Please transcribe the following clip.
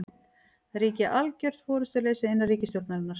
Það ríki algjör forystuleysi innan ríkisstjórnarinnar